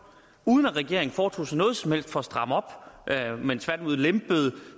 uden at regeringen foretog sig noget som helst for at stramme op men tværtimod lempede